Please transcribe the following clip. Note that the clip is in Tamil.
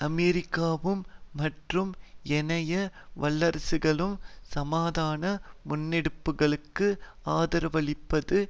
அமெரிக்காவும் மற்றும் ஏனைய வல்லரசுகளும் சமாதான முன்னெடுப்புகளுக்கு ஆதரவளிப்பது